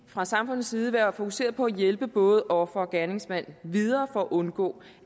fra samfundets side være fokuseret på at hjælpe både offer og gerningsmand videre for at undgå